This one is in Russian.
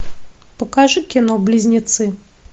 покажи кино близнецы